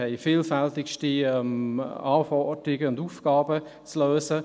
Wir haben vielfältigste Anforderungen und Aufgaben zu lösen.